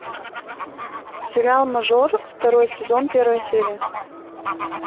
сериал мажор второй сезон первая серия